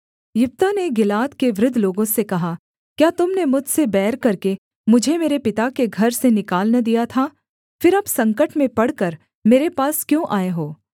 यिप्तह ने गिलाद के वृद्ध लोगों से कहा क्या तुम ने मुझसे बैर करके मुझे मेरे पिता के घर से निकाल न दिया था फिर अब संकट में पड़कर मेरे पास क्यों आए हो